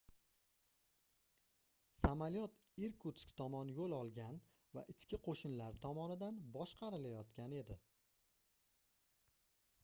samolyot irkutsk tomon yoʻl olgan va ichki qoʻshinlar tomonidan boshqarilayotgan edi